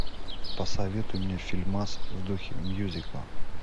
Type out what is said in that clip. посоветуй мне фильмас в духе мьюзикла